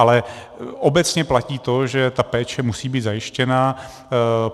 Ale obecně platí to, že ta péče musí být zajištěna.